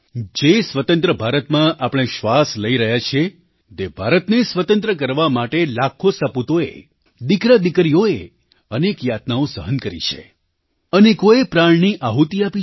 જે સ્વતંત્ર ભારતમાં આપણે શ્વાસ લઈ રહ્યા છીએ તે ભારતને સ્વતંત્ર કરવા માટે લાખો સપૂતોએ દીકરાદીકરીઓએ અનેક યાતનાઓ સહન કરી છે અનેકોએ પ્રાણની આહુતિ આપી છે